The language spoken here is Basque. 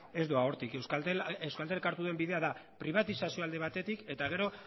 ez doa hortik euskaltelek hartu duen bidea da pribatizazioa alde batetik eta gero